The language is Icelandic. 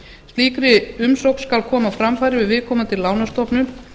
slíkri umsókn skal koma á framfæri við viðkomandi lánastofnun